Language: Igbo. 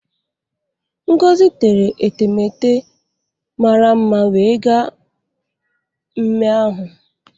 Ngozi tere etemete mara mma wee gaa mme ahụ.